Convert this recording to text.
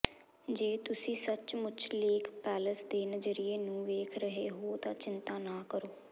ਜੇ ਤੁਸੀਂ ਸੱਚਮੁੱਚ ਲੇਕ ਪੈਲੇਸ ਦੇ ਨਜ਼ਰੀਏ ਨੂੰ ਵੇਖ ਰਹੇ ਹੋ ਤਾਂ ਚਿੰਤਾ ਨਾ ਕਰੋ